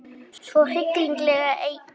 Hverju hefur hann bætt við argentínska liðið?